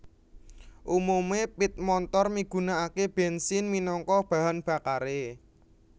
Umume pit montor migunakake bensin minangka bahan bakare